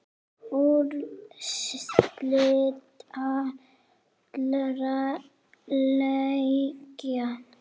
Úrslit allra leikja